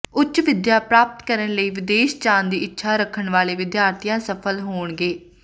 ਉੱਚ ਵਿਦਿਆ ਪ੍ਰਾਪਤ ਕਰਨ ਲਈ ਵਿਦੇਸ਼ ਜਾਣ ਦੀ ਇੱਛਾ ਰੱਖਣ ਵਾਲੇ ਵਿਦਿਆਰਥੀ ਸਫਲ ਹੋਣਗੇ